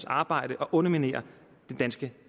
arbejde og underminerer det danske